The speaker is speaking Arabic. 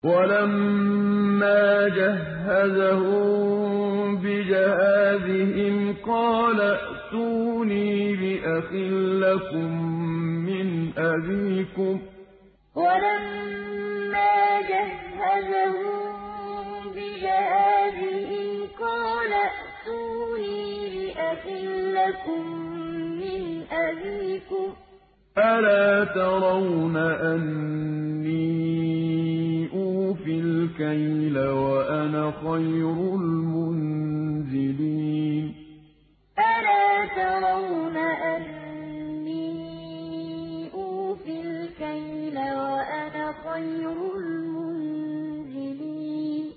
وَلَمَّا جَهَّزَهُم بِجَهَازِهِمْ قَالَ ائْتُونِي بِأَخٍ لَّكُم مِّنْ أَبِيكُمْ ۚ أَلَا تَرَوْنَ أَنِّي أُوفِي الْكَيْلَ وَأَنَا خَيْرُ الْمُنزِلِينَ وَلَمَّا جَهَّزَهُم بِجَهَازِهِمْ قَالَ ائْتُونِي بِأَخٍ لَّكُم مِّنْ أَبِيكُمْ ۚ أَلَا تَرَوْنَ أَنِّي أُوفِي الْكَيْلَ وَأَنَا خَيْرُ الْمُنزِلِينَ